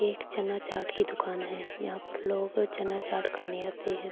ایک چنا چاٹ کی دکان ہے۔ یہاں پی لوگ چنا چاٹ خانے آتے ہے۔